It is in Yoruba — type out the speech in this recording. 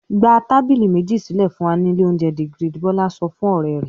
"Gba tábìlì méjì sílẹ̀ fún wa ní ilé-oúnjẹ The Grid!" Bọ́lá sọ fún ọ̀rẹ́ rẹ̀.